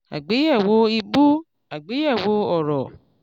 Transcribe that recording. àgbéyẹ̀wò ìbú àgbéyẹ̀wò òòró.